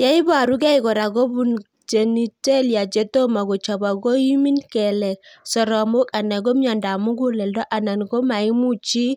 Ye iparukei kora ko kopun genitalia che tomo kochopok , koimin kelek, soromok anan miondop mug'uleldo anan ko maimuch chii